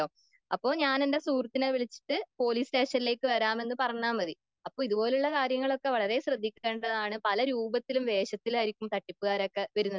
അപ്പൊ ഞാനെന്റെ സുഹൃത്തിനെ വിളിച്ചിട്ട് പോലീസ് സ്റ്റേഷനിലേക്ക് വരാമെന്ന് പറഞ്ഞാൽ മതി.അപ്പൊ ഇതുപോലുള്ള കാര്യങ്ങളൊക്കെ വളരെ ശ്രദ്ധിക്കേണ്ടതാണ്.പല രൂപത്തിലും വേഷത്തിലും ആയിരിക്കും തട്ടിപ്പുകാരൊക്കെ വരുന്നത്.